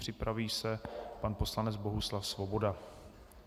Připraví se pan poslanec Bohuslav Svoboda.